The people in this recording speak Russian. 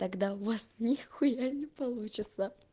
когда у вас нехуя не получится